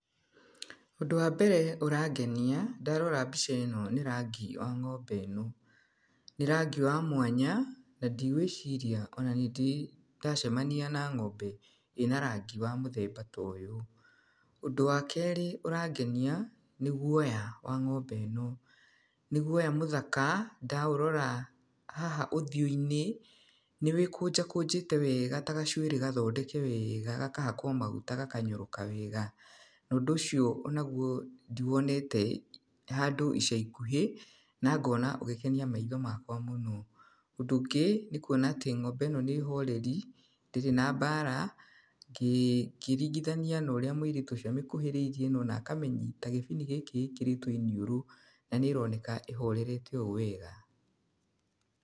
Ũndũ wa mbere ũrangenia ndarora mbica ĩno nĩ rangi wa ng'ombe ĩno, nĩ rangi wa mwanya na ndigwĩciria nĩndĩ ndacemania na ng'ombe ĩna rangi wa mũthemba ta ũyũ, ũndũ wa kerĩ ũrangenia nĩ guoya wa ng'ombe ĩno, nĩ guoya mũthaka ndaũrora haha ũthiũ-inĩ nĩ wĩkũnjakũnjĩte wega ta gacuĩrĩ gathondeke wega gakahakwo maguta gakanyoroka wega, na ũndũ ũcio onaguo ndiwonete handũ icaikuhĩ na ngona ũgĩkenia maitho makwa mũno, ũndũ ũngĩ nĩ kũona atĩ ng'ombe ĩno nĩ horeri ndirĩ na mbara ũkĩringithania na ũrĩa mwĩirĩtu ũcio amĩkuhĩrĩerie na akamĩnyita gĩbini gĩkĩ ĩkĩrĩtwo iniũrũ na nĩroneka ĩhoreire o wega.